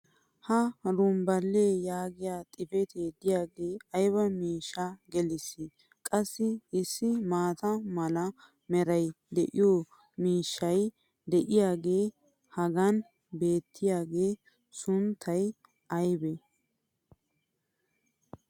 Ha "rumbbile" yaagiya xifatee diyaagee aybba miishshaa gelisii! Qassi issi maata mala meray de'iyo miishshay diyaagee hagan beetiyaaga sunntay aybee?